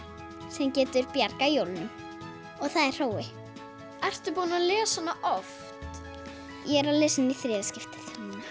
sem getur bjargað jólunum og það er Hrói ertu búin að lesa hana oft ég er að lesa hana í þriðja skiptið